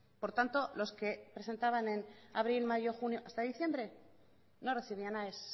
por tanto los que presentaban en abril mayo junio hasta diciembre no recibían aes